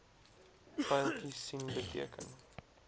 pyltjies sien beteken